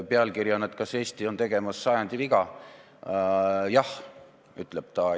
Pealkirjas küsib ta, kas Eesti on tegemas sajandi eksimust, ja vastab, et jah.